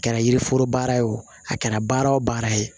A kɛra yiriforo baara ye o a kɛra baara o baara ye